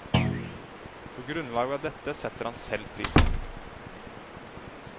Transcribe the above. På grunnlag av dette setter han selv prisen.